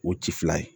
O ci fila ye